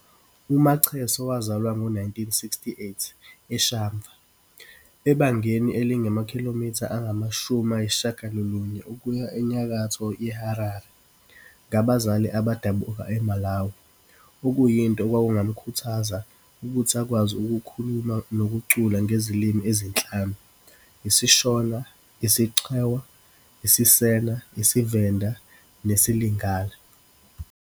UMacheso wazalwa ngo-1968 eShamva, ebangeni elingamakhilomitha angama shumi ayisishagalolunye ukuya enyakatho yeHarare, ngabazali abadabuka eMalawi - okuyinto okwakungamkhuthaza ukuthi akwazi ukukhuluma nokucula ngezilimi ezinhlanu - isiShona, isiChewa, isiSena, isiVenda nesiLingala.